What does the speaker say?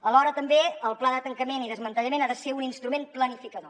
alhora també el pla de tancament i desmantellament ha de ser un instrument planificador